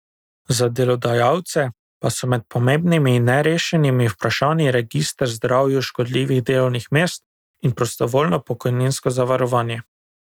Za delodajalce pa so med pomembnimi nerešenimi vprašanji register zdravju škodljivih delovnih mest in prostovoljno pokojninsko zavarovanje.